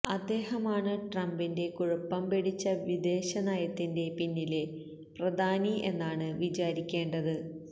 അദ്ദേഹമാണ് ട്രംപിന്റെ കുഴപ്പം പിടിച്ച വിദേശനയത്തിന്റെ പിന്നിലെ പ്രധാനി എന്നാണ് വിചാരിക്കേണ്ടത്